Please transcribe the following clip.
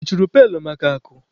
I chunyere pailu maka akụ?